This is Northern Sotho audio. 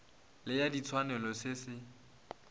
le ya ditshwanelo se se